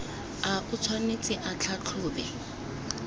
a o tshwanetse a tlhatlhobe